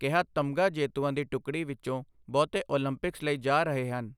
ਕਿਹਾ ਤਮਗ਼ਾ ਜੇਤੂਆਂ ਦੀ ਟੁਕੜੀ ਵਿੱਚੋਂ ਬਹੁਤੇ ਉਲੰਪਿਕਸ ਲਈ ਜਾ ਰਹੇ ਹਨ